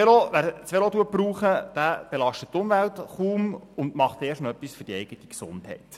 Wer das Velo braucht, belastet die Umwelt kaum und tut erst noch etwas für die eigene Gesundheit.